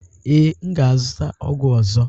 Ee, m ga-azụta ọgwụ ọzọ.